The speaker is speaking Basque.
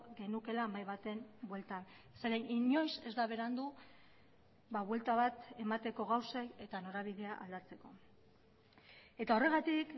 genukeela mahai baten bueltan zeren inoiz ez da berandu buelta bat emateko gauzei eta norabidea aldatzeko eta horregatik